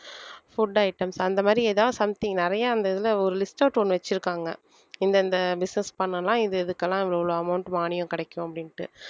food items அந்த மாதிரி ஏதாவது something நிறைய அந்த இதுல ஒரு list out ஒண்ணு வச்சிருக்காங்க இந்த இந்த business பண்ணலாம் இது இதுக்கெல்லாம் இவ்வளவு amount மானியம் கிடைக்கும் அப்படின்னுட்டு